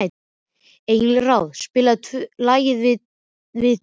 Engilráð, spilaðu lagið „Við tvö“.